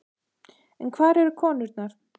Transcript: En hvar eru konurnar?